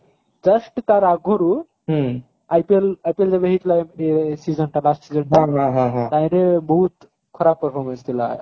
just ତାର ଆଗରୁ IPL IPL ଯେବେ ହେଇଥିଲା last season ଟା ତାହିଁରେ ବହୁତ ଖରାପ performance ଥିଲା